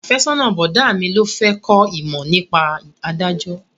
Afẹ́sọ́nà bọ̀dá mi ló fẹ́ kó ìmọ̀ nípa ìdájọ́